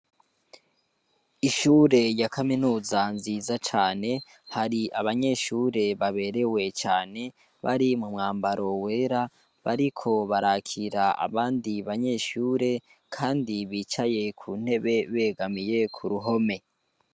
Ishure rya kaminuza nziza cane, hari abanyeshure baberewe cane, bari mumwambaro wera, bariko barakira abandi banyeshure, kandi bicaye kuntebe begamiye k'uruhome.